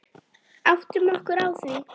Áttum okkur á því.